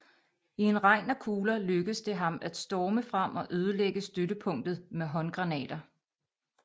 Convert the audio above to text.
I en regn af kugler lykkedes det ham at storme frem og ødelægge støttepunktet med håndgranater